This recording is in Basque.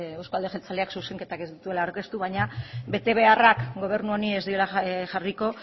euzko alderdi jeltzaleak zuzenketak ez dituela aurkeztu baina betebeharrak gobernu honi ez diola jarriko